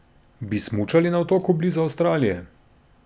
Bi smučali na otoku blizu Avstralije?